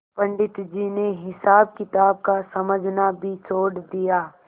पंडित जी ने हिसाबकिताब का समझना भी छोड़ दिया